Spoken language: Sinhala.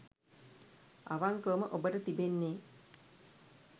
අවංකවම ඔබට තිබෙන්නේ